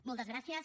moltes gràcies